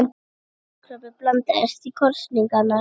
Kolkrabbi blandast í kosningar